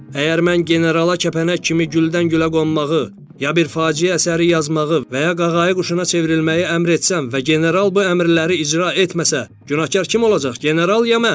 Əgər mən generala kəpənək kimi güldən gülə qonmağı, ya bir faciə əsəri yazmağı və ya qağayı quşuna çevrilməyi əmr etsəm və general bu əmrləri icra etməsə, günahkar kim olacaq: general, ya mən?